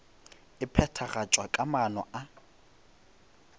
e phethagatšwa ka maano a